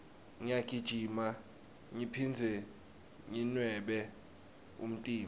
ngiyagijima ngiphindze nginwebe umtimba